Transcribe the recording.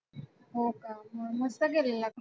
हो का. मग मस्त केलेला का?